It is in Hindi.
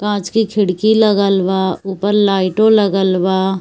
कांच की खिड़की लगल बा ऊपर लाइटो लगल बा।